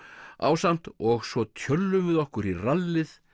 ásamt og svo tjöllum við okkur í rallið